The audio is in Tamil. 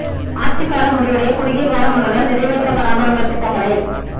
ஆட்சி காலம் முடிவடைய குறுகிய காலம் உள்ளதால் நிறைவேற்றப்படாமல் உள்ள திட்டங்களை